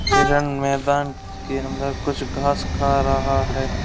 Iron मैदान के अंदर कुछ घास खा रहा है।